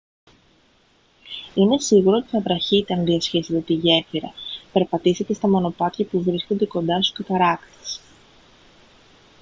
είναι σίγουρο ότι θα βραχείτε αν διασχίσετε τη γέφυρα περπατήσετε στα μονοπάτια που βρίσκονται κοντά στους καταρράκτες